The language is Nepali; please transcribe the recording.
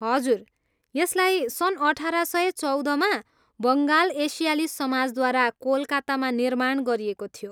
हजुर, यसलाई सन् अठार सय चौधमा बङ्गाल एसियाली समाजद्वारा कोलकातामा निर्माण गरिएको थियो।